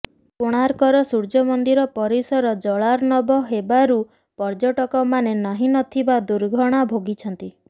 କୋଣାର୍କର ସୂର୍ଯ୍ୟମନ୍ଦିର ପରିସର ଜଳାର୍ଣବ ହେବାରୁ ପର୍ଯ୍ୟଟକମାନେ ନାହିଁ ନଥିବା ଦୁର୍ଦ୍ଦଶା ଭୋଗିଛନ୍ତି